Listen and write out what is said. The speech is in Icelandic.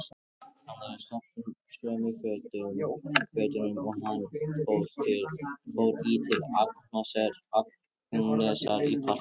Hann er í sömu fötunum og hann fór í til Agnesar í partíið.